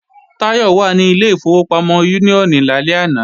Táyọ̀ wà ní ilé ìfowópamọ́ Úníónì lálẹ́ àná